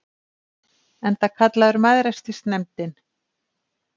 Enda kallaður Mæðrastyrksnefndin.